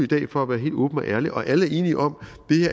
dag for at være helt åben og ærlig og alle er enige om